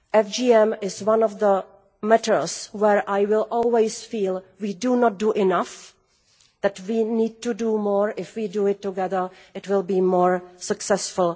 FGM is one of those matters where I will always feel we do not do enough, that we need to do more, and that if we do it together it will be more successful.